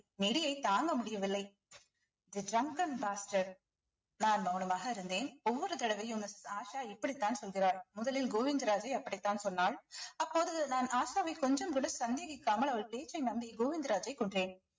நெடியை தாங்க முடியவில்லை இது drunk and நான் மௌனமாக இருந்தேன் ஒவ்வொரு தடவையும் missus ஆஷா இப்படித்தான் சொல்கிறார் முதலில் கோவிந்தராஜை அப்படித்தான் சொன்னான் அப்போது நான் ஆஷாவை கொஞ்சம் கூட சந்தேகிக்காமல் அவள் பேச்சை நம்பி கோவிந்தராஜை கொன்றேன்